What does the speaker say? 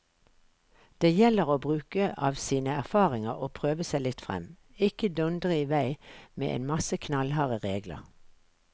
Det gjelder å bruke av sine erfaringer og prøve seg litt frem, ikke dundre i vei med en masse knallharde regler.